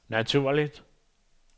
naturligt